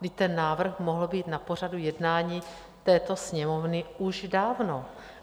Vždyť ten návrh mohl být na pořadu jednání této Sněmovny už dávno.